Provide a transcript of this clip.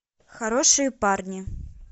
хорошие парни